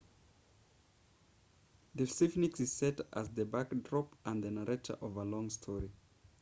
the sphinx is set as the backdrop and the narrator of a long story